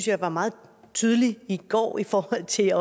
jeg var meget tydelig i går i forhold til